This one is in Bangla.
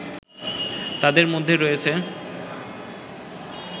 তাদের মধ্যে রয়েছে